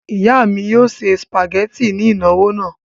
Ìyá mi yóò se sìpàgẹ́tì ní ìnáwó náà.